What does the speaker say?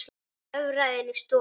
Hann hörfaði inn í stofu.